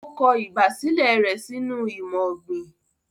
O kọ ìgbàsílẹ̀ rẹ sínú imọ-ogbin."